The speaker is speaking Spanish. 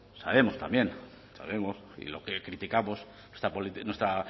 sabemos también sabemos y lo que criticamos nuestra